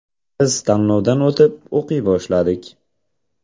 Biz tanlovdan o‘tib, o‘qiy boshladik.